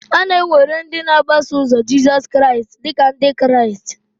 A na-ewere ndị na-agbaso ụzo Jizọs Kraịst dị ka Ndị Kraịst.